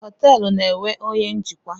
Họteelụ na-enwe onye njikwa.